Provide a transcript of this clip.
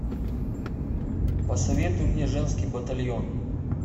посоветуй мне женский батальон